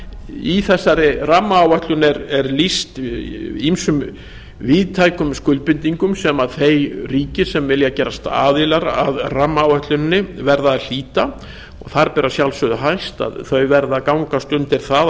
í þessari rammaáætlun er lýst ýmsum víðtækum skuldbindingum sem þau ríki sem vilja gerast aðilar að rammaáætluninni verða að hlíta og þar ber að sjálfsögðu hæst að þau verða að gangast undir það